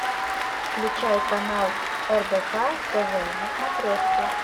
включай канал рбк тв на смотрешке